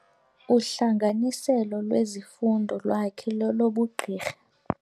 Uhlanganiselo lwezifundo lwakhe lolobugqirha.